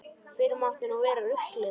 Fyrr mátti nú vera ruglið!